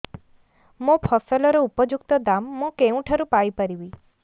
ମୋ ଫସଲର ଉପଯୁକ୍ତ ଦାମ୍ ମୁଁ କେଉଁଠାରୁ ପାଇ ପାରିବି